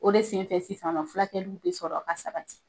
O de sen fɛ sisan nɔ fulakɛliw be sɔrɔ ka sabati.